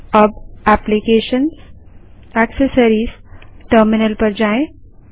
अब applications GT accessories GT terminal पर जाएँ